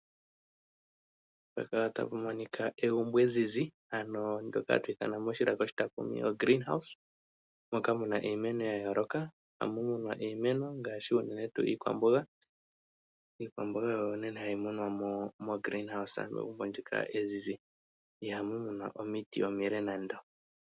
Pehala tapu monika egumbo ezizi ano ndoka hatu ithana moshilaka oshitakumi o "green house", moka muna iimeno ya yooloka. Ohamu munwa iimeno ngaashi unene tuu iikwamboga. Iikwamboga oyo naana hayi munwa mo mo "greeen house", megumbo ndoka ezizi. Ihamu munwa omiti omile nando.